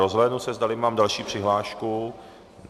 Rozhlédnu se, zdali mám další přihlášku.